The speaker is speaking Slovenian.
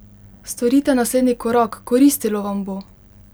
Storite naslednji korak, koristilo vam bo!